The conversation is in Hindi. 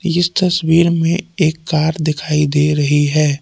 इस तस्वीर में एक कार दिखाई दे रही है।